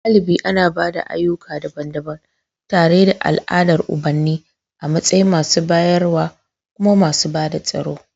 Galibi ana ba da ayyuka daban-daban, tare da al'adar ubanni a matsayin masu bayarwa kuma masu bada tsaro.